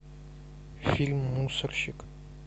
фильм мусорщик